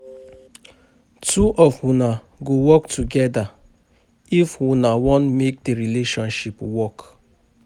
Two of una go work togeda if una wan make di relationship work.